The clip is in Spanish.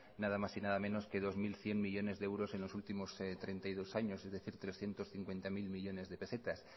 nada más y nada menos que dos mil cien millónes de euros en los últimos treinta y dos años es decir trescientos cincuenta mil millónes de pesetas